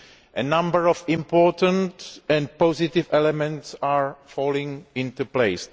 A number of important and positive elements are falling into place.